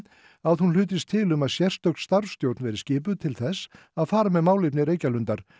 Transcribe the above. að hún hlutist til um að sérstök starfsstjórn verði skipuð til þess að fara með málefni Reykjalundar